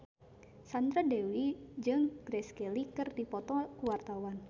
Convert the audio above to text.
Sandra Dewi jeung Grace Kelly keur dipoto ku wartawan